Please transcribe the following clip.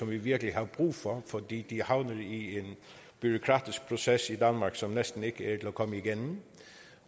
vi virkelig har brug for fordi de er havnet i en bureaukratisk proces i danmark som næsten ikke at komme igennem